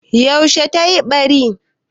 Yaushe tayi ɓari?